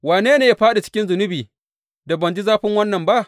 Wane ne ya fāɗi cikin zunubi, da ban ji zafin wannan ba?